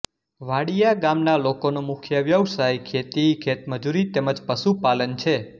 વાડિયા ગામના લોકોનો મુખ્ય વ્યવસાય ખેતી ખેતમજૂરી તેમ જ પશુપાલન છે